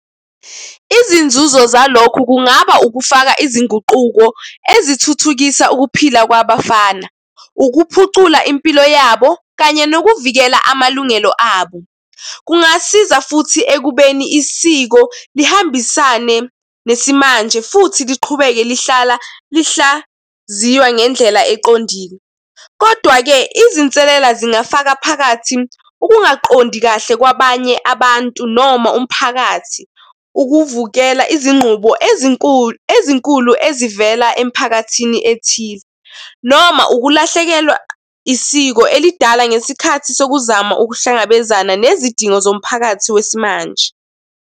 Izinzuzo zalokho kungaba ukufaka izinguquko ezithuthukisa ukuphila kwabafana, ukuphucula impilo yabo kanye nokuvikela amalungelo abo. Kungasiza futhi ekubeni isiko lihambisane nesimanje futhi liqhubeke lihlala lihlaziywa ngendlela eqondile. Kodwa-ke izinselela zingafaka phakathi ukungaqondi kahle kwabanye abantu noma umphakathi, ukuvukela izinqubo ezinkulu, ezinkulu ezivela emiphakathini ethize, noma ukulahlekelwa isiko elidala ngesikhathi sokuzama ukuhlangabezana nezidingo zomphakathi wesimanje.